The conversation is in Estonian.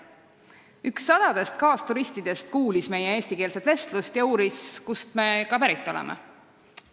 Üks sadadest kaasturistidest kuulis meie eestikeelset vestlust ja uuris, kust me pärit oleme.